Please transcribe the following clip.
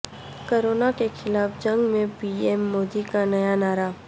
corona کے خلاف جنگ میں پی ایم مودی کا نیا نعرہ